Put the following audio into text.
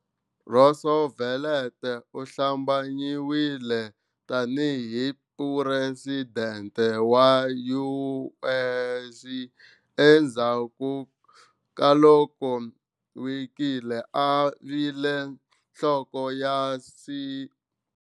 Roosevelt u hlambanyiwile tani hi president wa US endzhaku ka loko Willkie a vile nhloko ya C.